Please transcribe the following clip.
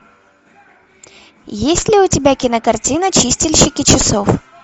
есть ли у тебя кинокартина чистильщики часов